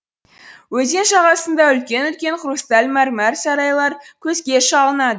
өзен жағасында үлкен үлкен хрусталь мәрмәр сарайлар көзге шалынады